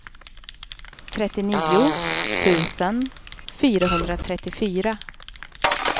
trettionio tusen fyrahundratrettiofyra